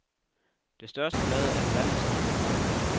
Det største blad er halvandet centimeter langt.